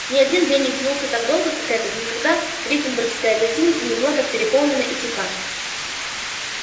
ни один день не тянулся так долго как этот никогда гриффиндорская гостиница не была так переполнена и тиха